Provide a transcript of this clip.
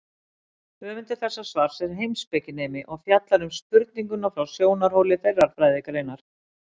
Höfundur þessa svars er heimspekinemi og fjallar um spurninguna frá sjónarhóli þeirrar fræðigreinar.